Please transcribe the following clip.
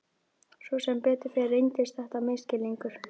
Sem betur fer reyndist þetta misskilningur.